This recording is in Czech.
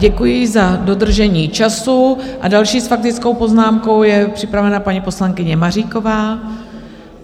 Děkuji za dodržení času a další s faktickou poznámkou je připravena paní poslankyně Maříková.